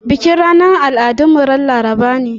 Bikin ranar al'adun mu ran Laraba ne.